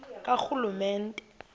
karhulumente